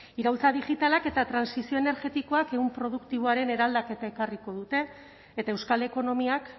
iraultza digitalak eta trantsizio energetikoa ehun produktiboaren eraldaketa ekarriko dute eta euskal ekonomiak